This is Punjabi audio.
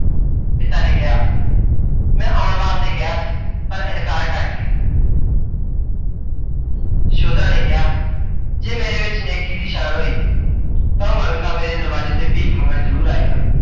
ਪਿਤਾ ਨੇ ਕਿਹਾ, ਮੈਂ ਆਉਣ ਵਾਸਤੇ ਕਿਹਾ ਸੀ, ਪਰ ਇਨਕਾਰ ਕਰ ਗਏ। ਯਸ਼ੋਧਰਾ ਨੇ ਕਿਹਾ, ਜੇ ਮੇਰੇ ਵਿੱਚ ਨੇਕੀ ਦੀ ਛਾਣ ਹੋਈ, ਤਾਂ ਓਹ ਮੰਗਤਾ ਮੇਰੇ ਦਰਵਾਜੇ ਤੇ ਭੀਖ ਮੰਗਣ ਜਰੂਰ ਆਏਗਾ।